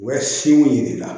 U bɛ si mun yir'i la